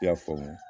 I y'a faamu